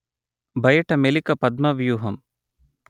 బయట మెలిక పద్మ వ్యూహం